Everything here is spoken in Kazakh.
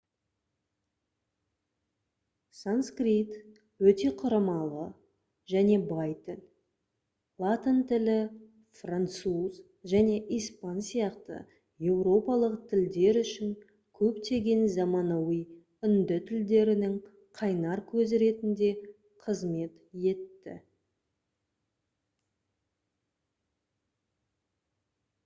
санскрит өте құрамалы және бай тіл латын тілі француз және испан сияқты еуропалық тілдер үшін көптеген заманауи үнді тілдерінің қайнар көзі ретінде қызмет етті